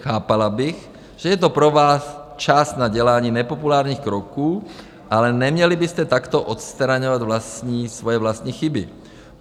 Chápala bych, že je to pro vás čas na dělání nepopulárních kroků, ale neměli byste takto odstraňovat svoje vlastní chyby.